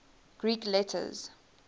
greek letters